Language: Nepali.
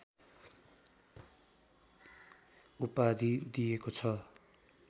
उपाधि दिएको छ